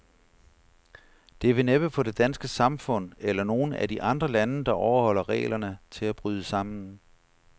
Det vil næppe få det danske samfund, eller nogen af de andre lande, der overholder reglerne, til at bryde sammen.